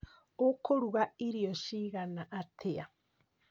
Ũkũruga irio cigana atĩa?